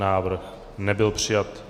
Návrh nebyl přijat.